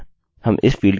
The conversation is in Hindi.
अगला महीना है और फिर दिन